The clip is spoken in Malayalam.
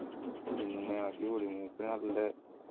പിന്നെ അടിപൊളി മൂപ്പര് നല്ല